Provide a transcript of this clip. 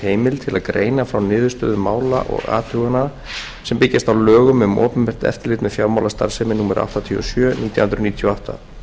til að greina frá niðurstöðum mála og athugana sem byggjast á lögum um opinbert eftirlit með fjármálastarfsemi númer áttatíu og sjö nítján hundruð níutíu og átta